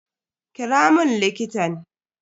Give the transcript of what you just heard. Kira mun likitan.